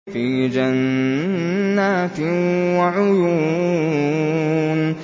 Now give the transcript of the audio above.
فِي جَنَّاتٍ وَعُيُونٍ